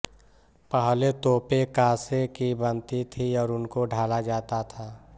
पहले तोपें काँसे की बनती थीं और उनको ढाला जाता था